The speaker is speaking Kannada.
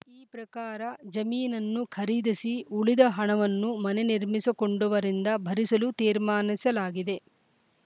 ಈ ಪ್ರಕಾರ ಜಮೀನನ್ನು ಖರೀದಿಸಿ ಉಳಿದ ಹಣವನ್ನು ಮನೆ ನಿರ್ಮಿಸಿ ಕೊಂಡವರಿಂದ ಭರಿಸಲು ತೀರ್ಮಾನಿಸಲಾಗಿದೆ